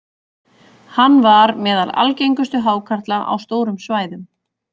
Hann var meðal algengustu hákarla á stórum svæðum.